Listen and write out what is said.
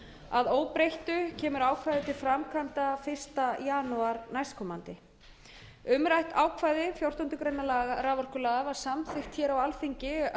að óbreyttu kemur ákvæðið til framkvæmda fyrsta janúar næstkomandi umrætt ákvæði fjórtándu greinar raforkulaga var samþykkt hér á alþingi